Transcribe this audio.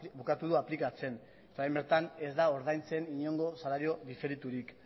bukatu du aplikatzen eta orain bertan ez da ordaintzen inongo salario diferiturik